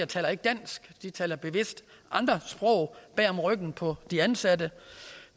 taler ikke dansk men taler bevidst andre sprog bag om ryggen på de ansatte